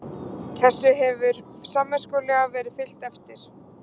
Þessu hefur samviskusamlega verið fylgt eftir